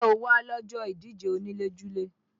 Ǹjẹ́ o wá lọ́jọ́ ìdíje onílé-julé?